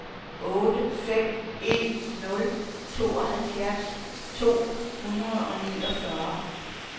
otte fem en nul tooghalvfjerds to hundrede og niogfyrre